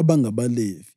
abangabaLevi.